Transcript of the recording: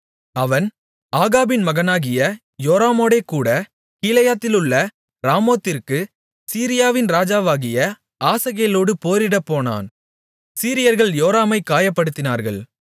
அவன் ஆகாபின் மகனாகிய யோராமோடேகூடக் கீலேயாத்திலுள்ள ராமோத்திற்குச் சீரியாவின் ராஜாவாகிய ஆசகேலோடு போரிடப்போனான் சீரியர்கள் யோராமைக் காயப்படுத்தினார்கள்